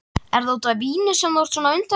Er það út af víni sem þú ert svona undarlegur?